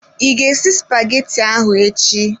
I ga esi spaghetti ahụ echi?